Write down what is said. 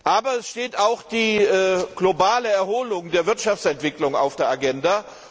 Aber es steht auch die globale Erholung der Wirtschaftsentwicklung auf der Agenda.